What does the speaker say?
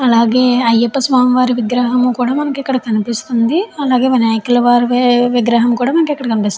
అలాగే అయ్యప్ప స్వామి వారి విగ్రహం కూడా మనకి ఇక్కడ కనిపిస్తుంది అలాగే వినాయకుల వారి విగ్రహం కూడా మనకి ఇక్కడ కనిపిస్తుంది.